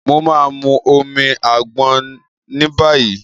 Mo ma mu omi àgbọn níbàyí.